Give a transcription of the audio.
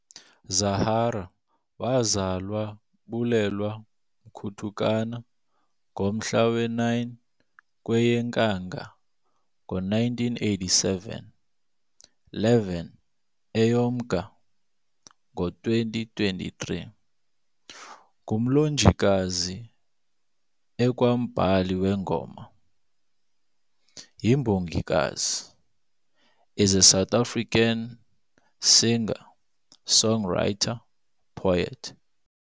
Zahara, wazalwa Bulelwa Mkutukana, ngomhla we9 kweyeNkanga ngo1987 - 11 Eyo Mnga ngo2023, ngumlonjikazi ekwambhali weengoma, yimbongikazi, is a South African singer-songwriter, poet,